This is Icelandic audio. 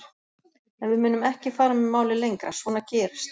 En við munum ekki fara með málið lengra, svona gerist